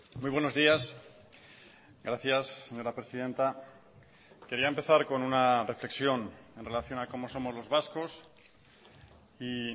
muy buenos días gracias señora presidenta quería empezar con una reflexión en relación a cómo somos los vascos y